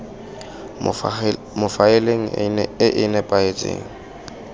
mo faeleng e e nepagetseng